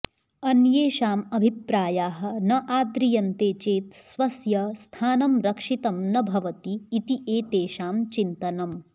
अन्येषाम् अभिप्रायाः न आद्रियन्ते चेत् स्वस्य स्थानं रक्षितं न भवति इति एतेषां चिन्तनम्